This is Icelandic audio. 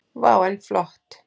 Vá, en flott.